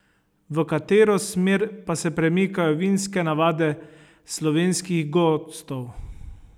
V katero smer pa se premikajo vinske navade slovenskih gostov?